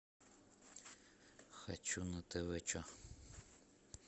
хочу на тв че